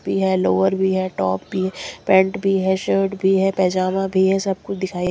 है लोअर भी है टॉप भी पैंट भी है शर्ट भी है पेजामा भी है सब कुछ दिखाई --